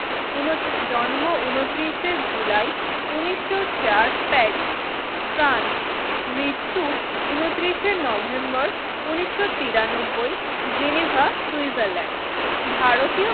উনতিরিস জন্ম উনতিরিস এ জুলাই উনিশশো চার প্যারিস ফ্রান্স মৃত্যু উনতিরিস এ নভেম্বর উনিশশো তিরানব্বই জেনেভা সুইজারল্যান্ড ভারতীয়